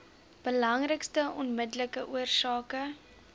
belangrikste onmiddellike oorsake